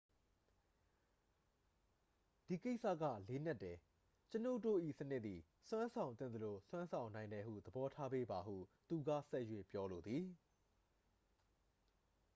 """ဒီကိစ္စက လေးနက်တယ်။ ကျွန်ုပ်တို့၏စနစ်သည် စွမ်းဆောင်သင့်သလို စွမ်းဆောင်နိုင်တယ်ဟု သဘောထားပေးပါ” ဟု သူက ဆက်၍ ပြောလိုသည်။